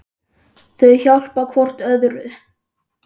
Þau hjálpa hvort öðru.